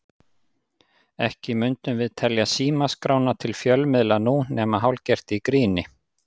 Ekki mundum við telja símaskrána til fjölmiðla nú, nema hálfgert í gríni.